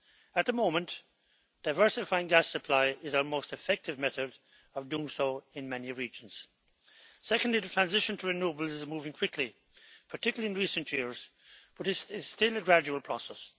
At the moment, diversifying gas supply is our most effective method of doing so in many regions. Secondly, the transition to renewables is moving quickly, particularly in recent years, but it is still a gradual process.